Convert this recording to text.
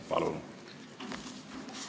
Palun!